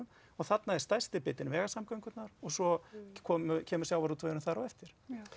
og þarna er stærsti bitinn vegasamgöngunar og svo kemur sjávarútvegurinn þar á eftir